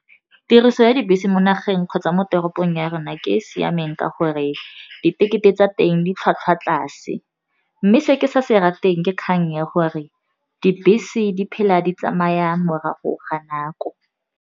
Tiriso ya dibese mo nageng kgotsa mo toropong ya rona ke e e siameng ka gore ditekete tsa teng di tlhwatlhwa tlase, mme se ke sa se rateng ke kgang ya gore dibese di phela di tsamaya morago ga nako.